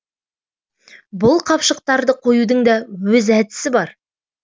бұл қапшықтарды қоюдың да өз әдісі бар